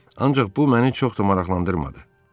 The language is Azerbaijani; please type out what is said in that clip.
Ancaq bu məni çox da maraqlandırmadı.